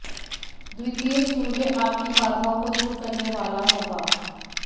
द्वितीय सूर्य आपकी बाधाओं को दूर करने वाला होगा